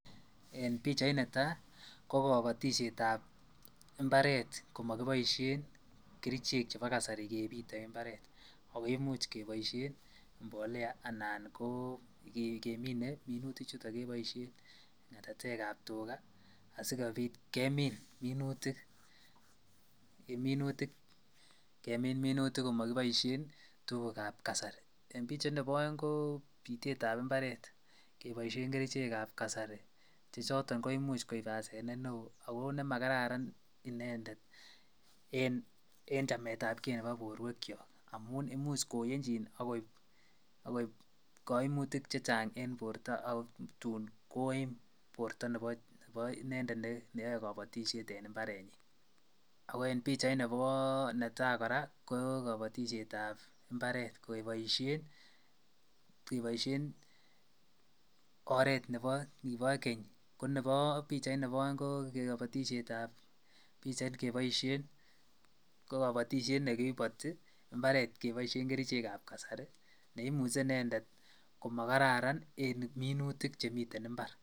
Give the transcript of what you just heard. En pichait ni taa ko kabatisyeet ab mbaret komakibaishen kercheek ab kasari kebiteen mbaret ako imuuch kebaisheen mbolea anan ko ngemine minutik chutoon kebaisheen ngatateek ab tugaah asikobiit kemiin minutik komakibaishen tuguuk ab kasari, en pichait nebo aeng ko bitet ab mbaret kebaisheen kercheek ab kasari che chotoon koimuuch koib asenet ne wooh ako ne ma kararan inendet eng chamet ab gei nebo boruek kyaak amuun imuuch koyenchiin agoibe kaimutiik che chaang en borto ako tuun koim bortoo en inendet ne yae kabatisyeet en mbaret nyiin, ako en pichait ne tai kora ko kabatisyeet ab kebaisheen, oret nekiboo keeny ko nebo pichait nebo aeng ko kabatisyeet ab pichait kebaisheen ko kabatisyeet ne kibaitii mbaret kebaisheen kercheek ab kasari neimuchei inendet komagararan en minutik che miten en mbar.